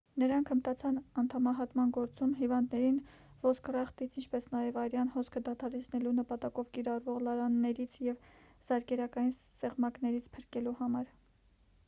նրանք հմտացան անդամահատման գործում հիվանդներին ոսկրախտից ինչպես նաև արյան հոսքը դադարեցնելու նպատակով կիրառվող լարաններից և զարկերակային սեղմակներից փրկելու համար